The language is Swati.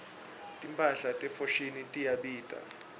timphahla te foschini tiyabita